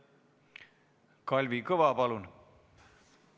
Kalvi Kõva, palun!